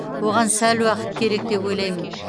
оған сәл уақыт керек деп ойлаймын